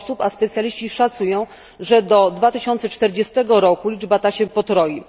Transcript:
osób, a specjaliści szacują, że do 2040 roku liczba ta się potroi.